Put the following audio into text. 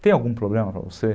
Tem algum problema para você?